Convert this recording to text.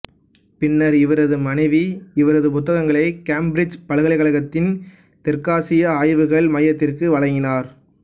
பின்னர் இவரது மனைவி இவரது புத்தகங்களை கேம்பிரிச்சுப் பல்கலைக்கழகத்தின் தெற்காசிய ஆய்வுகள் மையத்திற்கு வழங்கினார்